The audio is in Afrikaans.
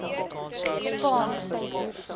kopane